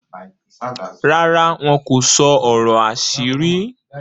ràrá wọn kò sọ ọrọ àṣírí?